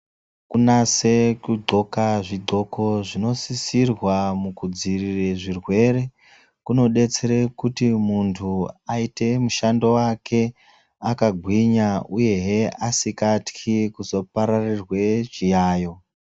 Kunase ku ndxoka zvi ndxoko zvino sisirwa muku dzivirire zvirwere kuno detsere kuti muntu ayite mushando wake aka gwinya uyehe asikatyi kuzo pararirwe zviyayo.